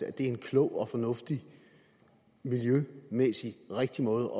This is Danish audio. er en klog og miljømæssigt rigtig måde